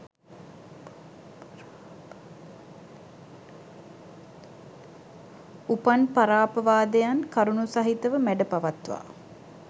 උපන් පරාපවාදයන් කරුණු සහිත ව මැඩ පවත්වා